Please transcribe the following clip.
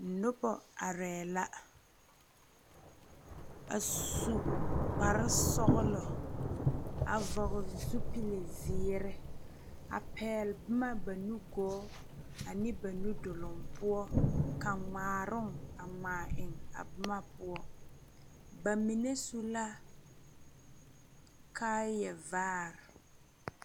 Nuba arẽ la a su kpare sɔglo a vɔgli zupili zeeri a pɛgli buma ba nuguo ane ba nu duri pou ka nyaãron a nyaã eng a buma pou ba mene su la kaaya vaare .